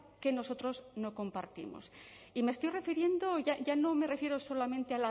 que nosotros no compartimos y me estoy refiriendo ya no me refiero solamente